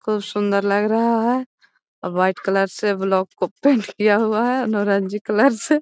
खूब सुन्दर लग रहा है और वाइट कलर से ब्लॉक को पेंट किया हुआ है नौरंगी कलर से।